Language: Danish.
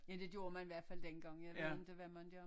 Ja det gjorde man i hvert fald den gangjeg ved ikke hvad man gør